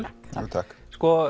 takk